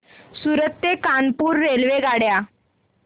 सूरत ते कानपुर रेल्वेगाड्या